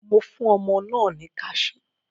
Mo fún ọmọ náà ní kaṣú.